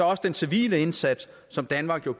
også den civile indsats som danmark jo